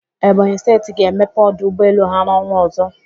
Ebonyị Steeti ga-emepe ọdụ ụgbọelu ha n'ọnwạ ọzọ.